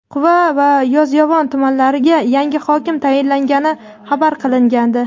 Quva va Yozyovon tumanlariga yangi hokim tayinlangani xabar qilingandi.